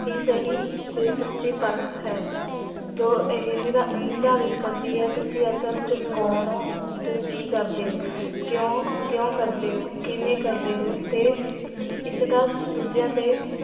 ਹੀ ਸਹਿਤ, ਤੇ ਸਚੀ ਪਰਖ ਹੈ ਜੋ ਇਹ ਨਿਦਾ ਨਿਦਾਰਿਤ ਕਰਦੀ ਹੈ, ਤੁਸੀਂ ਅਸਲ ਚ ਕੋਨ ਹੋ, ਤੇ ਕੀ ਕਰਦੇ ਹੋ ਕਿਓਂ, ਕਿਓਂ ਕਰਦੇ ਹੋ? ਕਿਵੇਂ ਕਰਦੇ ਹੋ? ਤੇ ਇਸਦਾ ਦੂਜਿਆਂ ਤੇ